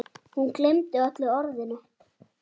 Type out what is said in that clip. Hún gleymdi öllu öðru.